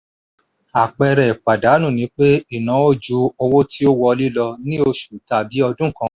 àpẹẹrẹ ìpàdánù ni pé ìnáwó ju owó tí wọlé lọ ní oṣù tàbí ọdún kan.